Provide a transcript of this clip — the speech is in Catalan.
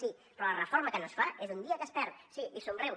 sí però la reforma que no es fa és un dia que es perd sí i somriu